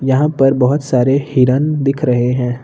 यहां पर बहोत सारे हिरण दिख रहे हैं।